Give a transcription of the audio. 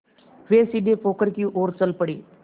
वे सीधे पोखर की ओर चल पड़े